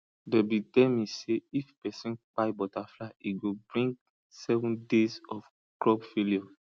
them be tell me say if persin kpai butterfly e go bring seven days of crop failure